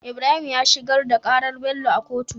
Ibrahim ya shigar da karar Bello a kotu